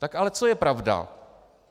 Tak ale co je pravda?